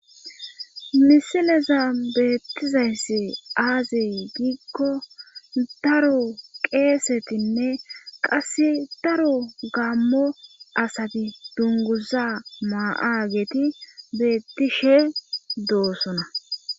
misileza beettizayssi aazey giikko daro qeesetinne qasse daro gaammo asati dunguza maa7a geeti beettishe doosona